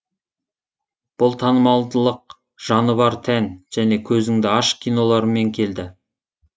бұл танымалдылық жаны бар тән және көзіңді аш киноларымен келді